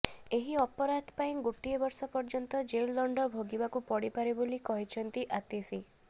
ଏହି ଅପରାଧ ପାଇଁ ଗୋଟିଏ ବର୍ଷ ପର୍ଯ୍ୟନ୍ତ ଜେଲ ଦଣ୍ଡ ଭୋଗିବାକୁ ପଡିପାରେ ବୋଲି କହିଛନ୍ତି ଆତିଶି